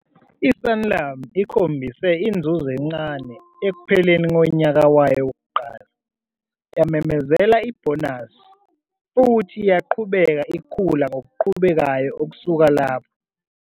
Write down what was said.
I-Sanlam ikhombise inzuzo encane ekupheleni konyaka wayo wokuqala, yamemezela ibhonasi, futhi yaqhubeka ikhula ngokuqhubekayo ukusuka lapho.